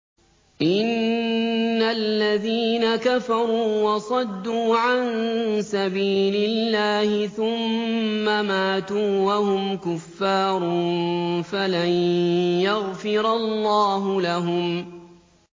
إِنَّ الَّذِينَ كَفَرُوا وَصَدُّوا عَن سَبِيلِ اللَّهِ ثُمَّ مَاتُوا وَهُمْ كُفَّارٌ فَلَن يَغْفِرَ اللَّهُ لَهُمْ